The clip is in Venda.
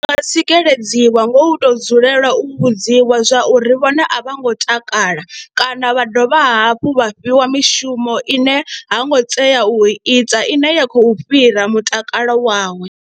Ndi nga tsikeledziwa nga u tou dzulela u vhudziwa zwa uri vhone a vha ngo takala kana vha dovha hafhu vha fhiwa mishumo ine ha ngo tea u ita ine ya khou fhira mutakalo wawe.